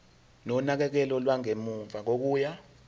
nonakekelo lwangemuva kokuya